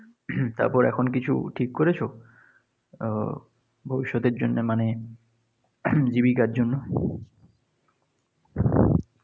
তারপরে এখন কিছু ঠিক করেছো? উম ভবিষ্যতের জন্য মানে জীবিকার জন্য?